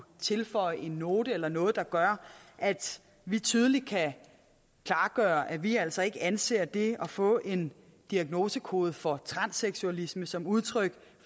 tilføje en note eller noget der gør at vi tydeligt kan klargøre at vi altså ikke anser det at få en diagnosekode for transseksualisme som udtryk